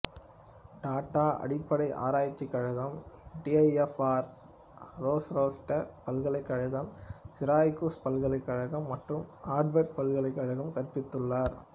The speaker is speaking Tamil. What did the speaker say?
டாட்டா அடிப்படை ஆராய்ச்சி கழகம் டிஐஎஃப்ஆர் ரோசெஸ்டர் பல்கலைக்கழகம் சிரக்கியூஸ் பல்கலைக்கழகம் மற்றும் ஆர்வர்டு பல்கலைக்கழகங்களில் கற்பித்துள்ளார்